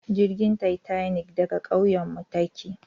Jirgin tatanik daga kauyenmu take